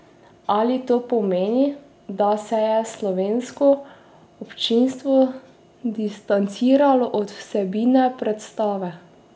Ali to pomeni, da se je slovensko občinstvo distanciralo od vsebine predstave?